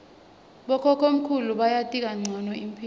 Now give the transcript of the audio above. bokhokhomkhulu bayati kancono imphilo